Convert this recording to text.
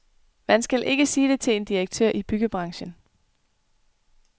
Man skal ikke sige det til en direktør i byggebranchen.